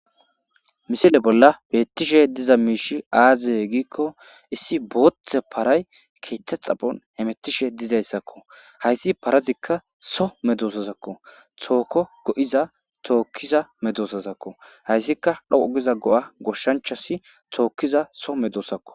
Missile bolla betishe dizay miishshi aze gikko issi bootha para keeththa xapho hemetishe hayisi dizayisakko haysi parazika so medosakko toko goiha tokiza medosazakko hayisika dhoqo giza goshanchasi tokiza so medosakko.